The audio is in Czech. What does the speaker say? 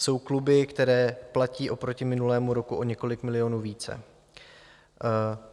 Jsou kluby, které platí oproti minulému roku o několik milionů více.